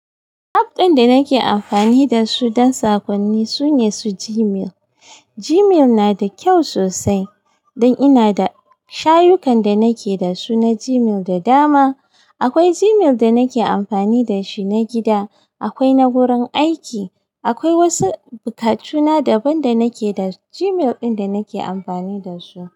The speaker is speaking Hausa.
App ɗin da nake amfani da su don sakonni sune su Gmail. Gmail na da kyau sosai don ina da shayukan da nake da su na Gmail da dama. Akwai Gmail da nake amfani da shi na gida, akwai na wurin aiki, akwai wasu buakatuna daban da nake da Gmail ɗin da nake amfani da su.